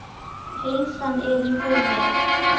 Heilsan er í húfi.